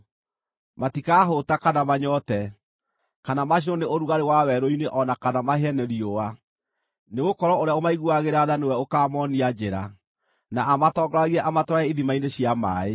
Matikaahũũta kana manyoote, kana macinwo nĩ ũrugarĩ wa werũ-inĩ o na kana mahĩe nĩ riũa. Nĩgũkorwo ũrĩa ũmaiguagĩra tha nĩwe ũkaamoonia njĩra na amatongoragie amatware ithima-inĩ cia maaĩ.